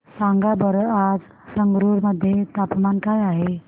सांगा बरं आज संगरुर मध्ये तापमान काय आहे